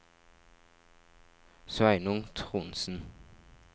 Sveinung Trondsen